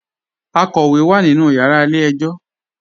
Àkọ́wé wá nínú yàrà ilẹ̀-ẹ̀jọ̀.